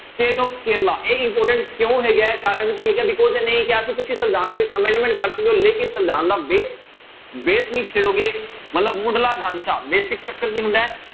State of Kerala ਇਹ important ਕਿਉਂ ਹੈਗਾ ਹੈ ਕਾਰਨ ਕੀ ਹੈਗਾ because ਇਹਨੇ ਇਹੀ ਕਿਹਾ ਸੀ ਤੁਸੀਂ ਸੰਵਿਧਾਨਕ amendment ਕਰ ਸਕਦੇ ਹੋ ਲੇਕਿੰਨ ਸੰਵਿਧਾਨ ਦਾ base, base ਨਹੀਂ ਛੇੜੋਗੇ, ਮਤਲਬ ਮੁੱਢਲਾ ਢਾਂਚਾ basic structure ਕੀ ਹੁੰਦਾ ਹੈ।